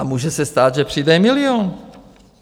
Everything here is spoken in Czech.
A může se stát, že přijde milion.